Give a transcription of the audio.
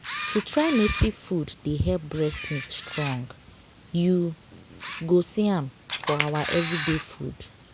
to try native food dey help breast milk strong. you go see am for our everyday food.